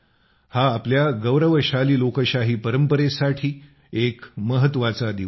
हा आपल्या गौरवाशाली लोकशाही परंपरेसाठी एक महत्वाचा दिवस आहे